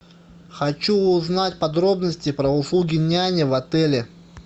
хочу узнать подробности про услуги няни в отеле